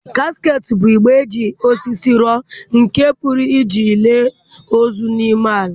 Casket bụ igbe e ji osisi rụọ nke a pụrụ iji lie ozu n'ime ya.